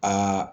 Aa